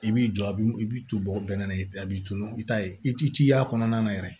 I b'i jɔ a b'i i b'i to bɛnkan na i b'i tunun i t'a ye i t'i ci y'a kɔnɔna na yɛrɛ